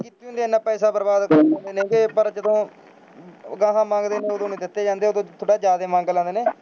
ਤੇ ਐਨਾ ਪੈਸਾ ਬਰਬਾਦ ਕਰ ਦਿੰਦੇ ਨੇ ਗੇ ਪਰ ਜਦੋਂ ਅਗਾਂਹ ਮੰਗਦੇ ਨੇ ਉਦੋਂ ਨਹੀਂ ਦਿੱਤੇ ਜਾਂਦੇ, ਉਦੋਂ ਥੋੜ੍ਹਾ ਜ਼ਿਆਦੇ ਮੰਗ ਲੈਂਦੇ ਨੇ,